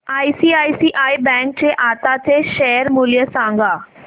ICICI bank चे आताचे share मूल्य सांगा